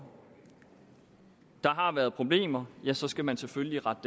der har været problemer ja så skal man selvfølgelig rette